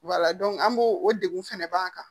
an b'o o degun fɛnɛ b'an kan